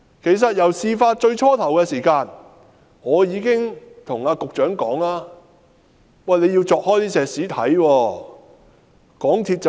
其實，在事發初期，我已告訴局長必須鑿開混凝土抽驗。